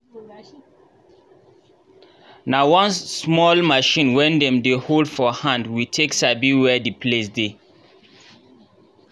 nah one small machine wen dem dey hold for hand we take sabi where the place dey